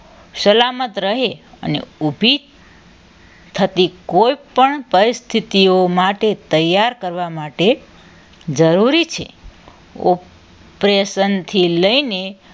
સલામત રહે અને ઉભી થતી કોઈપણ પરિસ્થિતિમાં તે તૈયાર કરવા માટે જરૂરી છે operation થી લઈને